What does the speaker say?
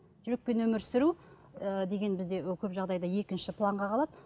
жүрекпен өмір сүру ы деген бізде көп жағдайда екінші планға қалады